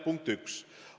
Punkt 1.